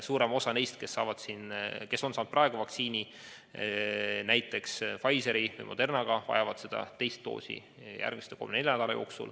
Suurem osa neist, keda on vaktsineeritud näiteks Pfizeri või Modernaga, vajavad teist doosi järgmise kolme-nelja nädala jooksul.